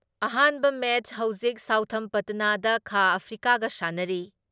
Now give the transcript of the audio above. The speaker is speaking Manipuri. ꯑꯍꯥꯟꯕ ꯃꯦꯠꯁ ꯍꯧꯖꯤꯛ ꯁꯥꯎꯊꯝꯄꯇꯅꯗ ꯈꯥ ꯑꯐ꯭ꯔꯤꯀꯥꯒ ꯁꯥꯟꯅꯔꯤ ꯫